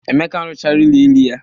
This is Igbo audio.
Emeka arụchaala ụlọ elu ya.